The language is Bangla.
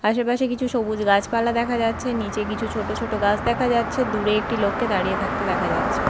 আশেপাশে কিছু সবুজ গাছপালা দেখা যাচ্ছে নীচে কিছু ছোট ছোট গাছ দেখা যাচ্ছে দূরে একটি লোককে দাঁড়িয়ে থাকতে দেখা যাচ্ছে।